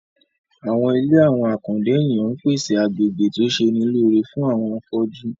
Àwọn ilé àwọn àkàndá ènìyàn ń pèsè agbegbe tó ṣe'ni lóore fún àwọn afọ́jú